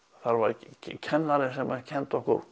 það var kennari sem kenndi okkur